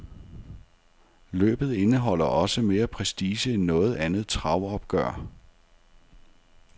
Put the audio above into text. Løbet indeholder også mere prestige end noget andet travopgør.